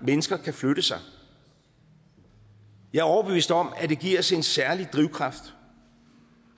mennesker kan flytte sig og jeg er overbevist om at det giver os en særlig drivkraft